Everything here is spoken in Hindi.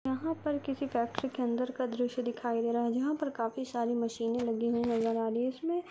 यहा पर किसी फैक्ट्री के अंदर का द्रशय दिखाई दे रहा हैजहा पर काफी सारी मशीने लगि हुई नज़र आ रही है। इसमे--